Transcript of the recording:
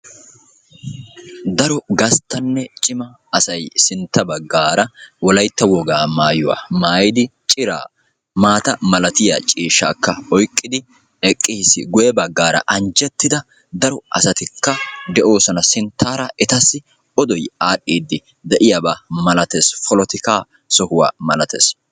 Daro gasttanne cima asay sintta baggaara wolayitta wogaa mayuwa mayidi ciraa maata malatiya ciishshaakka oyiqqidi eqqis. Guyye baggaara anjjettida daro asatikka de'oosona. Sinttaara etassi odoy aadhdhiiddi de'iyaba malates. Polotikaa sohuwa malates.